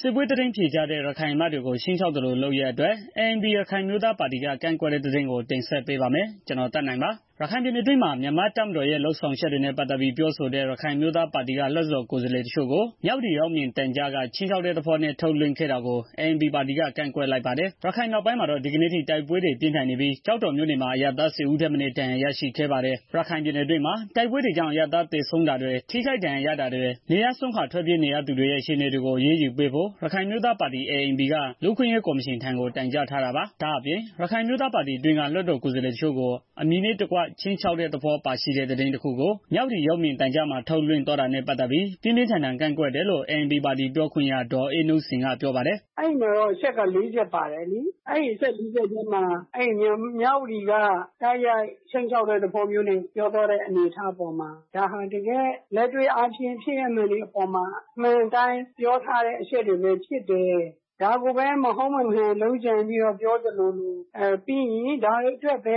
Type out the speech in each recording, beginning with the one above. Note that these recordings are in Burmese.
စစ်ပွဲသတင်းဖြေကြားတဲ့ ရခိုင်အမတ်တွေကို ခြိမ်းခြောက်သလိုလုပ်ရပ်အတွက် ANP ရခိုင်အမျိုးသားပါတီက ကန့်ကွက်တဲ့သတင်း ကိုသက်နိုင်တင်ဆက်ပေးပါမယ်။ ရခိုင်ပြည်နယ်အတွင်းမှာ မြန်မာတပ်မတော်ရဲ့ လုပ်ဆောင်ချက်တွေနဲ့ ပတ်သတ်ပြီးပြောဆိုတဲ့ ရခိုင်အမျိုး သားပါတီက လွတ်တော်ကိုယ်စားလှယ်တစ်ချို့ကို မြဝတီရုပ်မြင်သံကြားက ခြိမ်းခြောက်တဲ့သဘောနဲ့ ထုတ်လွင့် ခဲ့တာကို ANP ပါတီက ကန့်ကွက်လိုက်ပါတယ်။ ရခိုင်မြောက်ပိုင်းမှာတော့ ဒီကနေ့အထိ တိုက်ပွဲတွေ ပြင်းထန် နေပြီးကျောက်တော်မြို့နယ်မှာ အရပ်သား ၁၀ဦးထက်မနည်း ဒဏ်ရာရရှိခဲ့ပါတယ်။ ရခိုင်ပြည်နယ်အတွင်းမှာ တိုက်ပွဲတွေကြောင့် အရပ်သားသေဆုံးတာတွေ ထိခိုက်ဒဏ်ရာရတာတွေ နေရပ်စွန့် ခွာထွက်ပြေးနေရသူတွေရဲ့ အခြေအနေတွေကို အရေးယူပေးဖို့ ရခိုင်အမျိုးသားပါတီ က လူ့အခွင့်အရေး ကော်မရှင်ထံကို တိုင်ကြားထားတာပါ။ ဒါအပြင့် ရခိုင်အမျိုးသားပါတီအတွင်းက လွှတ်တော်ကိုယ်စားလှယ်တစ်ချို့ကို အမည်နဲ့တကွ ခြိမ်းခြောက်တဲ့ သဘောပါရှိတဲ့ သတင်းတစ်ခုကိုမြဝတီရုပ်မြင်သံကြား မှာထုတ်လွင့်သွားတာနဲ့ပတ်သတ်ပြီး ပြင်းပြင်း ထန်ထန် ကန့်ကွက်တယ်လို့ ANPပါတီ ပြောခွင့်ရ ဒေါ်အေးနုစိန်က ပြောပါတယ်။ “အဲဒီမှာတော့ အချက် လေးချက်ပါတယ်လေ အဲဒီအချက်လေးချက်ထဲမှာ မြဝတီက တိုက်ရိုက်ခြိမ်းခြောက်တဲ့ သဘော ပြောသွားတဲ့ အနေအထားပေါ်မှာ ဒါဟာတကယ် လက်တွေ့ဖြင့် ဖြစ်ရပ်မှန်တွေအပေါ်မှာ အမှန် အတိုင်း ပြောတဲ့ အချက်တွေပဲဖြစ်တယ်။ ဒါကိုမဟုတ် မမှန် လုပ်ကြံပြီးတော့ ပြောသလိုလို ပြီးရင် ဒါတွေ အတွက်ပဲ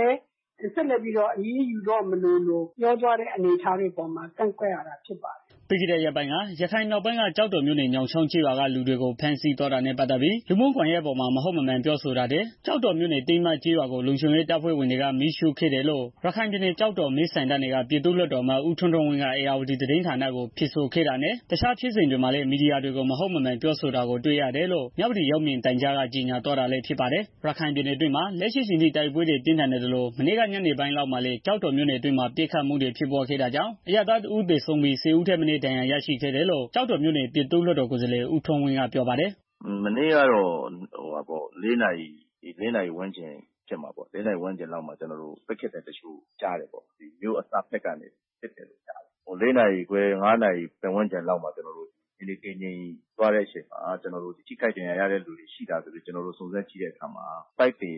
ဆက်လက်ပြီးတော့ အရေးယူသွားမလိုလို ပြောသွားတဲ့ အနေအထားပေါ်မှာ ကန့်ကွက် ရတာ ဖြစ်တယ်။” ပြီးခဲ့တဲ့ရက်ပိုင်းက ရခိုင်မြောက်ပိုင်းက ကျောက်တော်မြို့နယ် ညောင်းချောင်းကျေးရွာက လူတွေကို ဖမ်းဆီးသွား တာနဲ့ ပတ်သတ်ပြီး လူမှုကွန်ယှက်ပေါ်မှာ မဟုတ်မမှန်ပြောဆိုတာတွေ ကျောက်တော်မြို့နယ် တင်းမကျေးရွာကို လုံခြုံရေး တပ်ဖွဲ့ဝင်တွေက မီးရှုံ့ဖျက်စီးခဲ့တယ်လို့ ကျောက်တော် မဲဆန္ဒနယ်က ပြည်သူ့လွတ်တော် အမတ် ဦးထွန်းထွန်းဝင်းက ဧရာဝတီသတင်းဌာနကို ဖြေဆိုခဲ့တာနဲ့ တစ်ခြားဖြစ်စဉ် တွေမှာ လည်း မီဒီယာတွေကို မဟုတ်မမှန်ပြောဆိုတာကို တွေ့ရတယ်လို့ မြဝတီရုပ်မြင်သံကြားက ကြေညာသွား တာလည်း ဖြစ်ပါတယ်။ ရခိုင်ပြည်နယ်အတွင်းမှာ လက်ရှိအချိန်ထိ တိုက်ပွဲတွေ ပြင်းထန်နေသလို မနေ့က ညနေပိုင်းလောက်မှာလည်း ကျောက်တော်မြို့နယ်အတွင်းမှာ ပစ်ခတ်မှုတွေ ဖြစ်ပွားခဲ့တာကြောင့် အရပ်သားတစ်ဦးသေဆုံးပြီး ၁၀ဦးထက် မနည်း ဒဏ်ရာရရှိခဲ့တယ်လို့ ကျောက်တော်မြို့နယ် ပြည်သူ့လွှတ်တော်ကိုယ်စားလှယ် ဦးထွန်းဝင်းက ပြောပါ တယ်။ “မနေ့ကတော့ ၄ နာရီဝန်းကျင်လောက်မှာ မြို့အစဘက်ကနေ ပစ်ခတ်သံတစ်ချို့ကြားတယ်။ ၄နာရီခွဲ ၅နာရီ ပတ်ဝန်းကျင်လောက်မှာ ထိခိုက်ဒဏ်ရာရတဲ့ သူတွေ ရှိလားလို့ စုံစမ်းကြည့်တဲ့အခါမှာ ပိုက်သယ်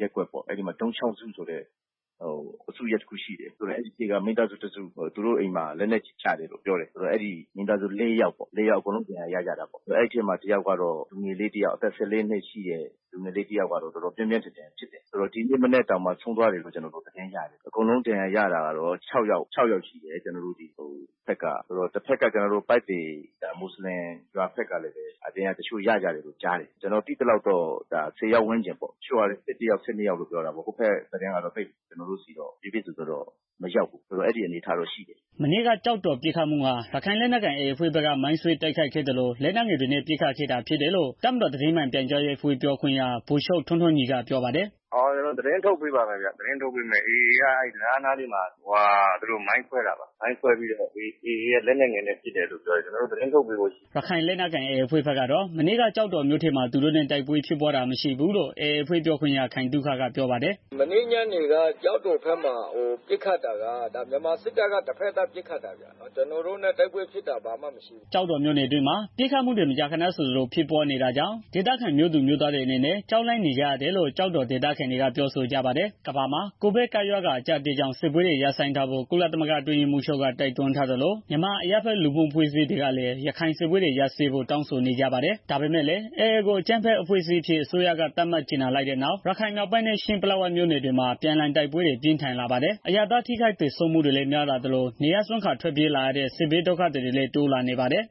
ရပ်ကွက် ၊ ဒုံး ချောင်းစုဆိုတဲ့ အစုထဲမှာမိသားစုတစ်စု သူတို့အိမ်မှာ လက်နက်ကြီးကျတယ်လို့ ပြောတယ်။ မိသားစုလေး ယောက် အကုန်လုံးဒဏ်ရာရကြတာပေါ့။ အဲဒီထဲမှာ အသက် ၁၄နှစ် လူငယ်လေးတစ်ယောက် ကတော့ တော်တော်ပြင်း ပြင်း ထန်ထန်ဖြစ်တယ်။ ဒီနေ့မနက်မှာ ဆုံးသွားတယ်လို့ ကြားတယ်။ အကုန်လုံးဒဏ်ရာ ရတာကတော့ ၆ ယောက် ရှိတယ်။ ပိုက်သည် မွတ်စလင်ရွာဘက်ကလည်း တစ်ချို့ ဒဏ်ရာရကြတယ်လို့ ကြတားတယ်။ ကျနော်ကြားရ သလောက် ကတော့ ၁၀ ကျော်လောက် ဒဏ်ရာရကြတယ်လို့ ကြားတယ် အဲဘက်က သတင်းကတော့ ကျနော့်ဆီ ကိုတော့ တိတိကျကျမရောက်ဘူး။” မနေ့က ကျောက်တော်ပစ်ခတ်မှုဟာ ရခိုင်လက်နက်ကိုင် AAအဖွဲ့က မိုင်းခွဲတိုက်ခိုက်ခဲ့သလို လက်နက်ငယ် တွေနဲ့ ပစ်ခတ်ခဲ့တာဖြစ်တယ်လို့ တပ်မတော်သတင်းမှန်ပြန်ကြားရေးအဖွဲ့ ပြောခွင့်ရ ဗိုလ်ချုပ်ထွန်းထွန်းညီက ပြောပါ တယ်။ “AAက အဲဒီတံတားနားမှာ မိုင်းခွဲတယ်။ မိုင်းခွဲပြီးတော့ AAက လက်နက်ငယ်နဲ့ ပစ်တယ်လို့ ပြောတယ်။ ကျနော်တို့ သတင်းထုတ်ပေးဖို့ရှိတယ်ဗျာ။” ရခိုင်လက်နက်ကိုင် AAအဖွဲ့ဘက်ကတော့ မနေ့က ကျောက်တော်မြို့ထဲမှာ သူတို့နဲ့ တိုက်ပွဲဖြစ်တာမရှိဘူးလို့ AAအဖွဲ့ ပြောခွင့်ရ ခိုင်သုခက ပြောပါတယ်။ “မနေ့ညနေက ကျောက်တော်ဘက်မှာပစ်ခတ်တာက မြန်မာစစ်တပ်ဘက်က တစ်ဖက်သတ် ပစ်ခတ်တာ ဖြစ်တယ်ဗျာ။ ကျနော်တို့နဲ့ တိုက်ပွဲဖြစ်တာ လုံးဝမရှိဘူး။” ကျောက်တော်မြို့အတွင်းမှာ ပစ်ခတ်မှုတွေ မကြားခဏဆိုသလို ဖြစ်ပွားနေတာကြောင့် ဒေသခံမြို့သူမြို့ သားတွေအနေနဲ့ ကြောက်လန့်နေကြရတယ်လို့ ကျောက်တော်ဒေသခံတွေက ပြောဆိုကြပါတယ်။ ကမ္ဘာမှာ COVID ကပ်ရောဂါအကြပ်အတည်းကြောင့် စစ်ပွဲတွေ ရပ်ဆိုင်းထားဖို့ ကုလသမဂ္ဂအတွင်းရေးမှူးချုပ်က တိုက်တွန်းထားသလို၊ မြန်မာအရပ်ဖက်လူ့မှုအဖွဲ့တွေကလည်း ရခိုင်စစ်ပွဲတွေ ရပ်စဲဖို့ တောင်းဆိုနေကြပါတယ်။ ဒါပေမယ့်လည်း AA ကို အကြမ်းဖက်အဖွဲ့အစည်းအဖြစ် အစိုးရက သတ်မှတ်ကြေညာလိုက်တဲ့နောက်၊ ရခိုင်မြောက်ပိုင်းနဲ့ ချင်း ပလက်ဝမြို့နယ်တွေမှာ အပြန်အလှန်တိုက်ပွဲတွေ ပိုပြင်းထန်လာပါတယ်။ အရပ်သား ထိခိုက်သေဆုံးမှုတွေလည်း များလာသလို၊ နေရပ်စွန့်ခွာထွက်ပြေးရတဲ့ဒုက္ခသည်တွေလည်း တိုးလာ နေပါ တယ်။